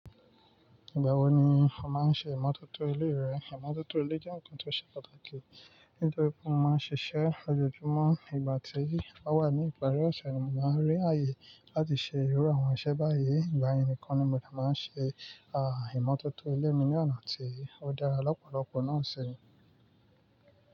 Ìgbà wo ni o máa ń ṣe ìmọ̀tótó ilé rẹ? Ìmọ̀tótó ilé jẹ́ nǹkan tó ṣe pàtàkì. Nítorí pé mo máa ń ṣiṣẹ́ lójoojúmọ́, ìgbà tí èyí bá wà ní ìparí ọ̀ṣẹ̀, mo máa ń rí ààyè láti ṣe ìrọ́ àwọn iṣẹ́ báyìí. Ìgbà yẹn ni kọ́ ni mo dà máa ń ṣe, aàh, ìmọ̀tótó ilé mi ní ọ̀nà tí ó dára lọ́pọ̀lọpọ̀ náà ṣe ni.